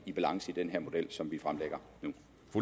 i balance i den her model som vi fremlægger nu